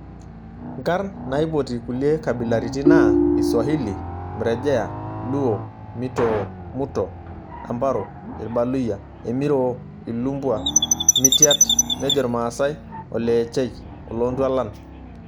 Nkarn naipotie kulie kabilaritin naa:Iswahili; Mrejea, Luo; Mitoo/Muto/Ambaro, Irbaluyia Emiroo, Ilumbwa; Mityat nejo Irmaasae; oleechei/Olontwalan.